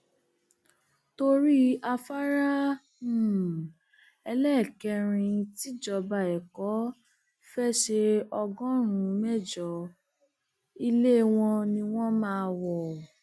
torí afárá um ẹlẹẹkẹrin tíjọba ẹkọ fée ṣe ọgọrùnún mẹjọ ilé ni wọn máa wọ um